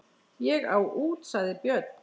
Ég á út, sagði Björn.